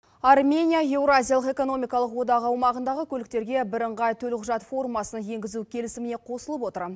армения еуразиялық экономикалық одағы аумағындағы көліктерге бірыңғай төлқұжат формасын енгізу келісіміне қосылып отыр